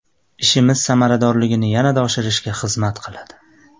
Ishimiz samaradorligini yanada oshirishga xizmat qiladi”.